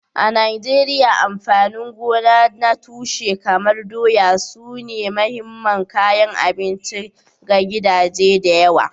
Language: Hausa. A Najeriya, amfanin gona na tushe kamar doya sune mahimman kayan abinci ga gidaje da yawa.